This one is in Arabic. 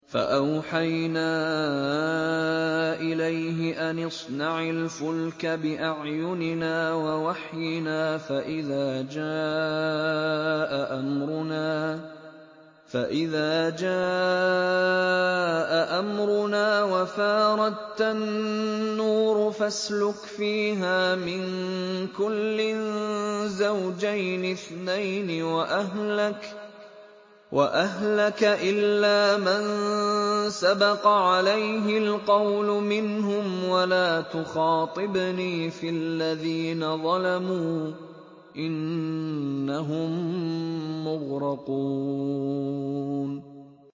فَأَوْحَيْنَا إِلَيْهِ أَنِ اصْنَعِ الْفُلْكَ بِأَعْيُنِنَا وَوَحْيِنَا فَإِذَا جَاءَ أَمْرُنَا وَفَارَ التَّنُّورُ ۙ فَاسْلُكْ فِيهَا مِن كُلٍّ زَوْجَيْنِ اثْنَيْنِ وَأَهْلَكَ إِلَّا مَن سَبَقَ عَلَيْهِ الْقَوْلُ مِنْهُمْ ۖ وَلَا تُخَاطِبْنِي فِي الَّذِينَ ظَلَمُوا ۖ إِنَّهُم مُّغْرَقُونَ